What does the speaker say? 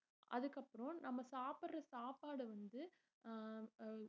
அதுக்கப்புறம் நம்ம சாப்பிடுற சாப்பாடு வந்து ஆஹ் அஹ்